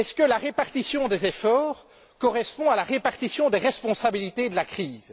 La répartition des efforts correspond elle à la répartition des responsabilités de la crise?